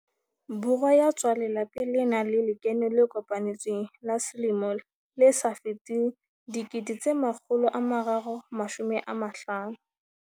Borwa ya tswang lelapeng le nang le lekeno le kopanetsweng la selemo le sa feteng R350 000.